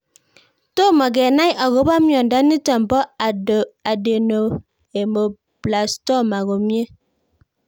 Tomo kenai akopo miondo nitok po Adenoameloblastoma komie